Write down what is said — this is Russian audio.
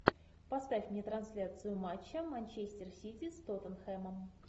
поставь мне трансляцию матча манчестер сити с тоттенхэмом